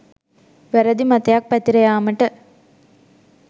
වැරැදි මතයක් පැතිර යෑමට